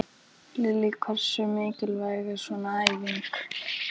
Lillý: Hversu mikilvæg er svona æfing?